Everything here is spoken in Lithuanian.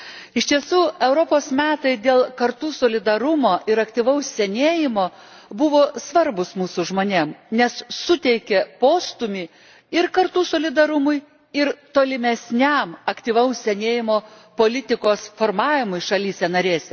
Iš tiesų Europos metai dėl kartų solidarumo ir aktyvaus senėjimo buvo svarbūs mūsų žmonėms, nes suteikė postūmį ir kartų solidarumui, ir tolimesniam aktyvaus senėjimo politikos formavimui šalyse narėse.